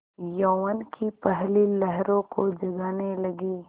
यौवन की पहली लहरों को जगाने लगी